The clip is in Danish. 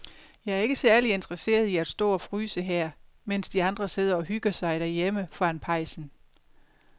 Jeg er ikke særlig interesseret i at stå og fryse her, mens de andre sidder og hygger sig derhjemme foran pejsen.